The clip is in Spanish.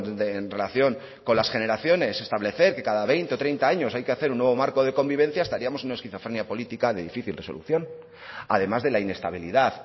de en relación con las generaciones establecer que cada veinte o treinta años hay que hacer un nuevo marco de convivencia estaríamos en esquizofrenia política de difícil resolución además de la inestabilidad